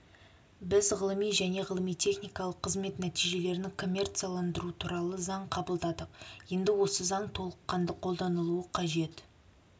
біз ғылыми және ғылыми-техникалық қызмет нәтижелерін коммерцияландыру туралы заң қабылдадық енді осы заң толыққанды қолданылуы қажет